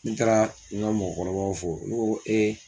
N taara n ka mɔgɔkɔrɔbaw fo n ko